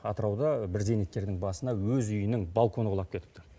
атырауда бір зейнеткердің басына өз үйінің балконы құлап кетіпті